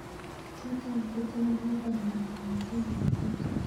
Tot aitite ano upperhill kongeten nairobi